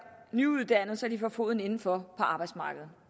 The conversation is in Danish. nyuddannede så de kan få foden inden for på arbejdsmarkedet